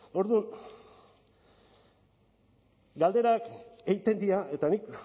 orduan galderak egiten dira eta nik